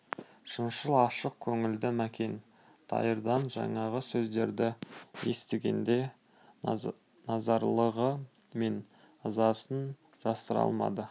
шыншыл ашық көңілді мәкен дайырдан жаңағы сөздерді естігенде наразылығы мен ызасын жасыра алмады